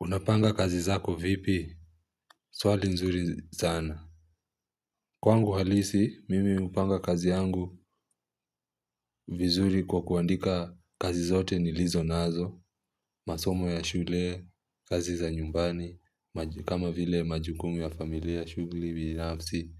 Unapanga kazi zako vipi? Swali nzuri sana. Kwangu halisi, mimi hupanga kazi yangu vizuri kwa kuandika kazi zote nilizo nazo. Masomo ya shule, kazi za nyumbani, kama vile majukumu ya familia shughuli binafsi.